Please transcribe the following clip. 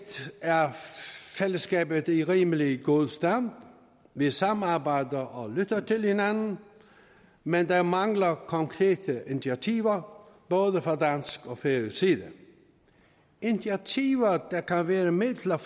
er fællesskabet i rimelig god stand vi samarbejder og lytter til hinanden men der mangler konkrete initiativer både fra dansk og færøsk side initiativer der kan være midler